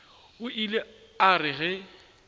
o ile a re ge